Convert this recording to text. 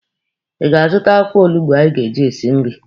Ị ga-azụta akwụkwọ olugbo anyị ga-eji esi nri?